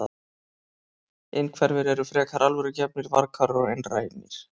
Innhverfir eru frekar alvörugefnir, varkárir og einrænir.